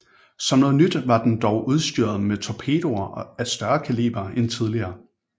Som noget nyt var den dog udstyret med torpedoer af større kaliber end tidligere